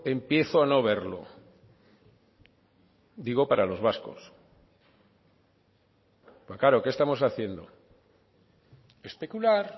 empiezo a no verlo digo para los vascos claro qué estamos haciendo especular